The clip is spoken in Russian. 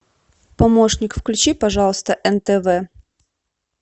помощник включи пожалуйста нтв